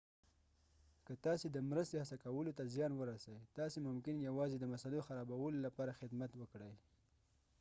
که تاسي د مرستې هڅه کولو ته زیان ورسئ تاسي ممکن یوازې د مسئلو خرابولو لپاره خدمت وکړئ